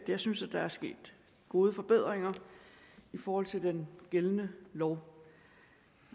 at jeg synes at der er sket gode forbedringer i forhold til den gældende lov